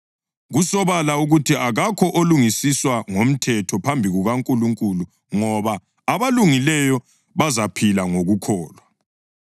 Kusobala ukuthi akakho olungisiswa ngomthetho phambi kukaNkulunkulu ngoba, “Abalungileyo bazaphila ngokukholwa.” + 3.11 UHabhakhukhi 2.4